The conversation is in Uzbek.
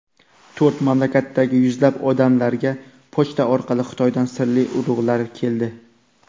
To‘rt mamlakatdagi yuzlab odamlarga pochta orqali Xitoydan sirli urug‘lar keldi.